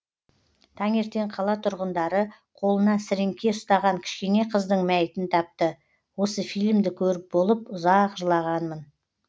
таңертең қала тұрғындары қолына сіріңке ұстаған кішкене қыздың мәйітін тапты осы фильмді көріп болып ұзақ жылағанмын